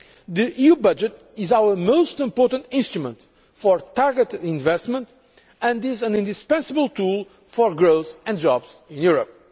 The EU budget is our most important instrument for targeted investment and is an indispensable tool for growth and jobs in Europe.